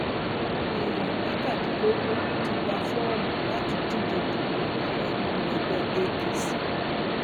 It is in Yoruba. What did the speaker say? èèyàn mẹtàdínlógún ti gba fọọmù láti díje dupò ààrẹ nínú ẹgbẹ apc